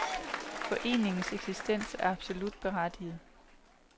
Foreningens eksistens er absolut berettiget.